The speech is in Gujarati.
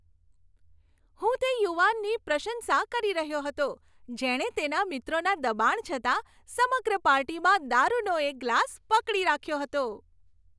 હું તે યુવાનની પ્રશંસા કરી રહ્યો હતો જેણે તેના મિત્રોના દબાણ છતાં સમગ્ર પાર્ટીમાં દારુનો એક ગ્લાસ પકડી રાખ્યો હતો.